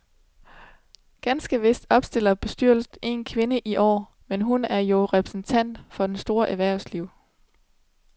Ganske vist opstiller bestyrelsen en kvinde i år, men hun er jo repræsentant for det store erhvervsliv.